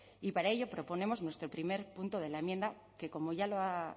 y para ello proponemos nuestro primer punto de la enmienda que como ya lo ha